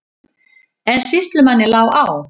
En sýslumanni lá á.